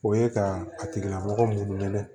O ye ka a tigila mɔgɔ minnu minɛ